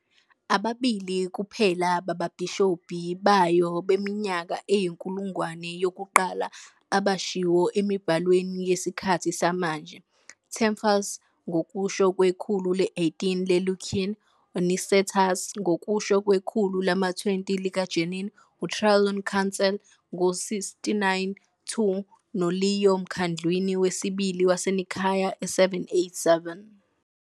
Ababili kuphela bababhishobhi bayo beminyaka eyinkulungwane yokuqala abashiwo emibhalweni yesikhathi samanje- Theopemptus, ngokusho kwekhulu le-18 lelequien, uNicetas, ngokusho kwekhulu lama-20 likaJanin, eTrullan Council ngo-692, noLeo eMkhandlwini Wesibili waseNicaea e-787.